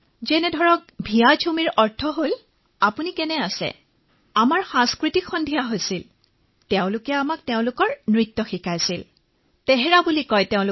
যিদৰে ভাইজমৰ অৰ্থ হল হেল্ল ঠিক সেইদৰে আমাৰ সাংস্কৃতিক অনুষ্ঠান উদযাপন হল তেওঁলোকে আমাক তেওঁলোকৰ নৃত্য শিকালে তেওঁলোকৰ নৃত্যৰ তোহৰা বুলি কোৱা হয়